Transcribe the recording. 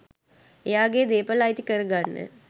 එයාගෙ දේපල අයිති කරගන්න.